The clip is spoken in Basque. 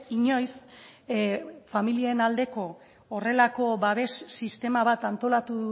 inoiz familien aldeko horrelako babes sistema bat antolatu